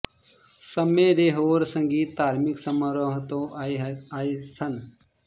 ਸਮੇਂ ਦੇ ਹੋਰ ਸੰਗੀਤ ਧਾਰਮਿਕ ਸਮਾਰੋਹਾਂ ਤੋਂ ਆਏ ਸਨ